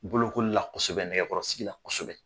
Bolokoli la kosɛbɛ nɛgɛkɔrɔsigi la kosɛbɛ.